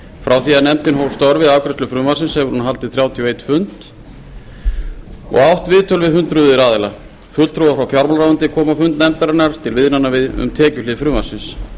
frá því að nefndin hóf störf við afgreiðslu frumvarpsins hefur hún haldið þrjátíu og einn fund og átt viðtöl við hundruð aðila fulltrúar frá fjármálaráðuneyti komu á fund nefndarinnar til viðræðna um tekjuhlið frumvarpsins